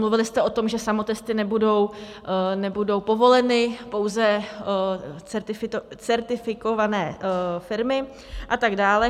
Mluvili jste o tom, že samotesty nebudou povoleny, pouze certifikované firmy a tak dále.